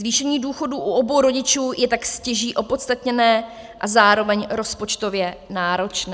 Zvýšení důchodů u obou rodičů je tak stěží opodstatněné a zároveň rozpočtově náročné.